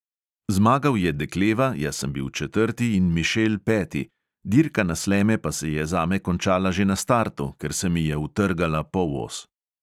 Zmagal je dekleva, jaz sem bil četrti in mišel peti, dirka na sleme pa se je zame končala že na startu, ker se mi je utrgala polos.